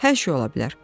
Hər şey ola bilər.